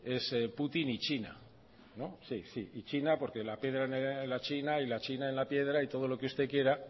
es putin y china china porque la piedra en la china y la china en la piedra y todo lo que usted quiera